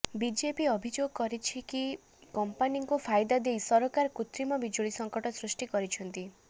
BJP ଅଭିଯୋଗ କରିଛି କିଛି କମ୍ପାନୀଙ୍କୁ ଫାଇଦା ଦେଇ ସରକାର କୃତ୍ରିମ ବିଜୁଳି ସଙ୍କଟ ସୃଷ୍ଟି କରିଛନ୍ତି